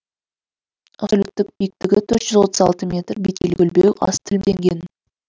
абсолюттік биіктігі төрт жүз отыз алты метр беткейі көлбеу аз тілімденген